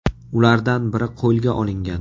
Ulardan biri qo‘lga olingan.